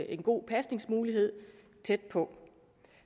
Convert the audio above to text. en god pasningsmulighed tæt på